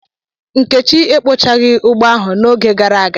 Nkechi ekpochaghi ugbo ahu n'oge gara aga.